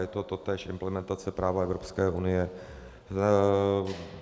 Je to též implementace práva Evropské unie.